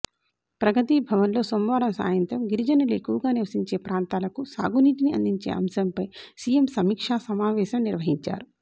ప్రగతి భవన్లో సోమవారం సాయంత్రం గిరిజనులు ఎక్కువగా నివసించే ప్రాంతాలకు సాగునీటిని అందించే అంశంపై సీఎం సమీక్షా సమావేశం నిర్వహించారు